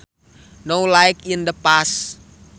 Now like in the past